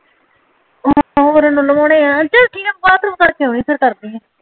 ਹਾਂ ਇੱਨੁ ਲਵੋਨਏ ਆ ਚੱਲ ਠੀਕ ਆ ਬੱਠਰੋਮਮ ਕਰ ਕੇ ਓਨੀ ਆ ਫੇਰ ਕਰਦੀ ਆ